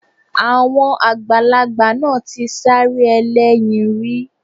Àwọn àgbàlagbà náà ti sáré ẹlẹ́yin rí